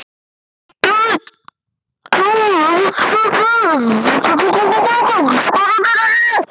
Þjálfun Vandræðalegasta augnablik?